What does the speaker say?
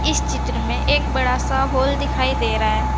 इस चित्र में एक बड़ा सा हॉल दिखाई दे रहा है।